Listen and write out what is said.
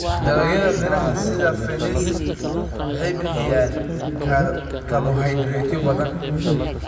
Dalagyada miraha sida fenesi waxay bixiyaan karbohaydraytyo badan.